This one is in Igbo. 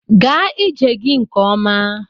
Gaa ije gị nke ọma!